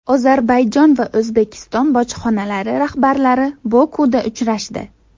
Ozarbayjon va O‘zbekiston bojxonalari rahbarlari Bokuda uchrashdi.